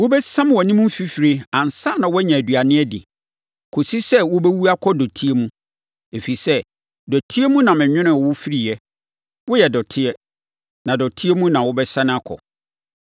Wobɛsiam wʼanim fifire ansa na woanya aduane adi, kɔsi sɛ wobɛwu akɔ dɔteɛ mu, ɛfiri sɛ, dɔteɛ no mu na menwonoo wo firiiɛ; woyɛ dɔteɛ, na dɔteɛ mu na wobɛsane akɔ.”